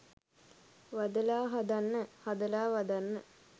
'වදලා හදන්න' 'හදලා වදන්න'.